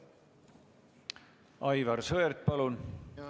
Aivar Sõerd, palun!